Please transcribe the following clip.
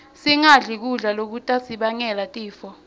singadli kudla lokutasibangela tifo